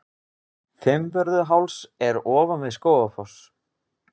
Fimmvörðuháls er ofan við Skógafoss.